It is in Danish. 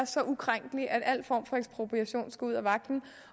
så ukrænkelig at al form for ekspropriation skulle ud af vagten